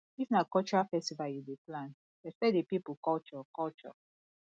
if na cultural festival you dey plan respect di pipo culture culture